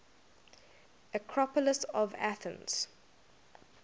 acropolis of athens